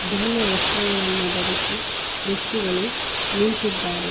ಬಿಳಿಯ ವಸ್ತ್ರಗಳನ್ನು ಧರಿಸಿ ವ್ಯಕ್ತಿಗಳು ನಿಂತಿದ್ದಾರೆ.